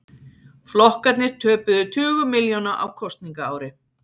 Flokkarnir töpuðu tugum milljóna á kosningaári